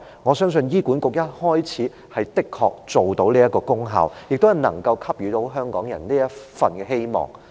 我相信醫管局開始時的確能達到這功效，亦能給予香港人這份希望。